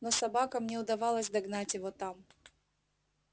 но собакам не удавалось догнать его там